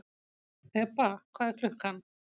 Þeba, hvað er klukkan?